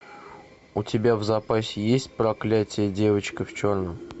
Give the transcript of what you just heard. у тебя в запасе есть проклятие девочка в черном